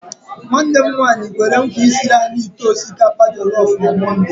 Nwanne m nwanyi kwere nkwa isiri anyị ite osikapa jelọf na mọnde.